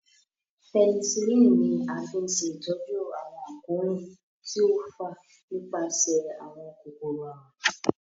Penicillin ní a fí ṣe ìtọjú àwọn àkóràn tí o fà nípasẹ àwọn kòkòrò àrùn.